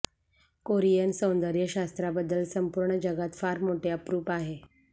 Korean सौंदर्य शास्त्राबद्दल संपूर्ण जगात फार मोठे अप्रूप आहे